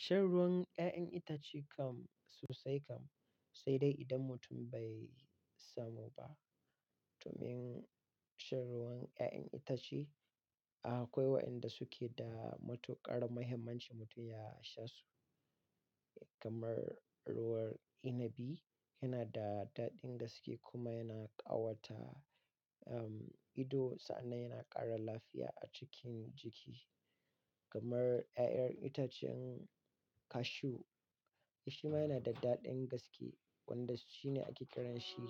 Shan ruwan 'ya'yan itace kam sosai kam, sai dai idan mutum bai samu ba. Domin shan ruwan 'ya'yan itace akwai wa'inda suke da matuƙar muhimmanci mutum ya sha su kamar ruwan inabi yana da daɗin gaske kuma yana ƙawata, um, ido, sannan yana ƙara lafiya a cikin jiki. Kamar 'ya'yan itacen cashew, shi ma yana da daɗin gaske wanda shi ne ake kiranshi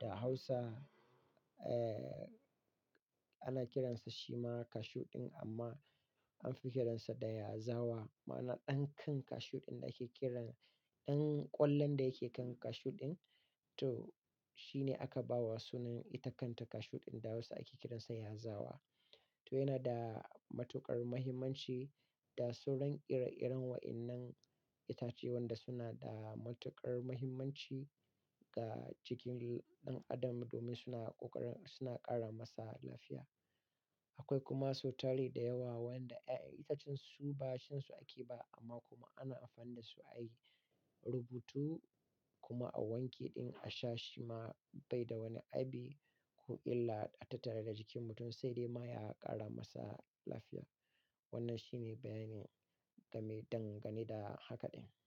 da Hausa, eh, ana kiransa shima cashew ɗin amma anfi kiransa da yazawa, ma'ana ɗan kan cashew ɗin da ake kiran ɗan ƙwallon da yake kan cashew ɗin. To, shi ne aka ba wa sunan ita kanta cashew ɗin da Hausa ake kiransa yazawa. To yana da matuƙar muhimmanci da sauran ire-iren wa'innan itace wanda suna da matuƙar muhimmanci ga jikin ɗan adam domin suna ƙoƙarin suna ƙara masa lafiya. Akwai kuma so tari da yawa wanda 'ya'yan itacen su ba shansu ake ba amma kuma ana amfani da su a yi rubutu kuma a wanke ɗin a sha shi ma bai da wani abi ko illa a tattare da jikin mutum sai dai ma ya ƙara masa lafiya. Wannan shi ne bayanin game dangane da haka ɗin.